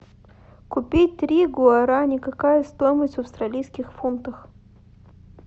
купить три гуарани какая стоимость в австралийских фунтах